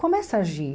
Começa a agir.